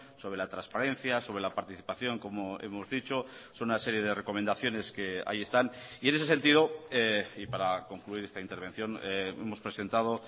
sobre la transparencia sobre la participación como hemos dicho son una serie de recomendaciones que ahí están y en ese sentido y para concluir esta intervención hemos presentado